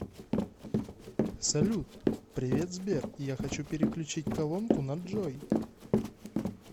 салют привет сбер я хочу переключить колонку на джой